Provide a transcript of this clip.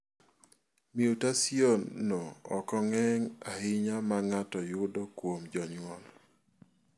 Mutasionno ok ng�eny ahinya ma ng�ato yudo kuom jonyuol.